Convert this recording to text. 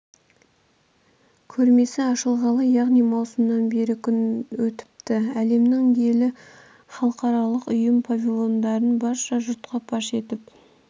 көрмесі ашылғалы яғни маусымнан бері күн өтіпті әлемнің елі халықаралық ұйым павильондарын барша жұртқа паш етіп